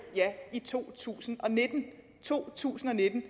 ja i to tusind to tusind og nitten